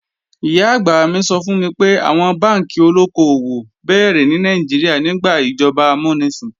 Ìyá-àgbà mi sọ fún mi pé, àwọn bánkì olóko-òwò béèrè ní Nàìjíríà nígbà ìjọba amúnisìn